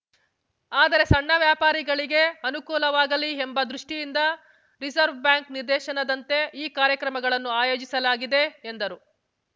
ಆದರೆ ಸಣ್ಣ ವ್ಯಾಪಾರಿಗಳಿಗೆ ಅನುಕೂಲವಾಗಲಿ ಎಂಬ ದೃಷ್ಠಿಯಿಂದ ರಿಸರ್ವ್ ಬ್ಯಾಂಕ್‌ ನಿರ್ದೇಶನದಂತೆ ಈ ಕಾರ್ಯಕ್ರಮಗಳನ್ನು ಆಯೋಜಿಸಲಾಗಿದೆ ಎಂದರು